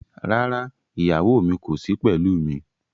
Rárá, ìyàwó mi kò sí pẹ̀lú mi.